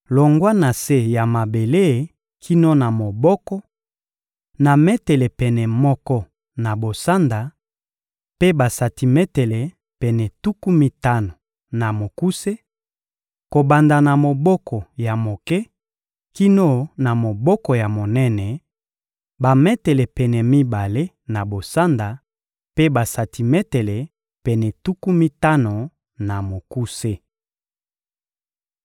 longwa na se ya mabele kino na moboko, na metele pene moko na bosanda mpe basantimetele pene tuku mitano na mokuse; kobanda na moboko ya moke kino na moboko ya monene, bametele pene mibale na bosanda mpe basantimetele pene tuku mitano na mokuse.